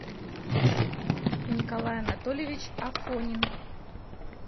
николай анатольевич афонин